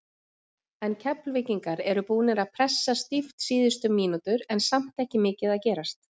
En Keflvíkingar eru búnir að pressa stíft síðustu mínútur en samt ekki mikið að gerast.